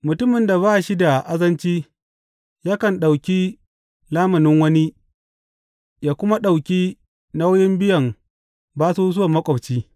Mutumin da ba shi da azanci yakan ɗauki lamunin wani ya kuma ɗauki nauyin biyan basusuwan maƙwabci.